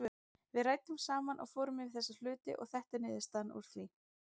Við ræddum saman og fórum yfir þessa hluti og þetta er niðurstaðan úr því.